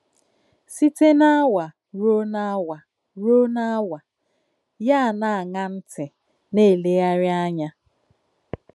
Sìté n’àwà rùò n’àwà, rùò n’àwà, yà ànà-àṅà ntì, nà-èlèghàrí ànyà.